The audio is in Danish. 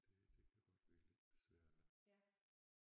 Det det kan godt virke lidt besværligt